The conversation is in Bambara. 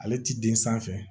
Ale ti den sanfɛ